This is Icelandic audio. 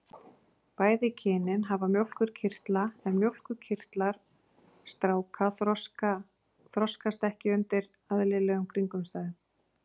Bæði kynin hafa mjólkurkirtla en mjólkurkirtlar stráka þroskast ekki undir eðlilegum kringumstæðum.